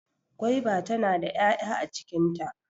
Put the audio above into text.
Gwaiba tana da 'ya'ya a cikin ta.